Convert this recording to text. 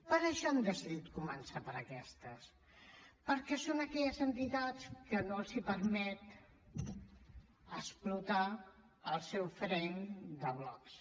per això han decidit començat per aquestes perquè són aquelles entitats que no els permet explotar el seu frame de blocs